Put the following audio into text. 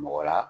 Mɔgɔ la